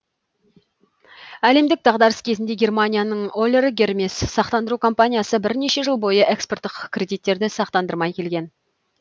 әлемдік дағдарыс кезінде германияның олер гермес сақтандыру компаниясы бірнеше жыл бойы экспорттық кредиттерді сақтандырмай келген